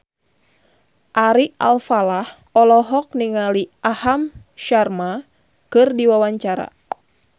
Ari Alfalah olohok ningali Aham Sharma keur diwawancara